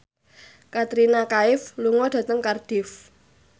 Katrina Kaif lunga dhateng Cardiff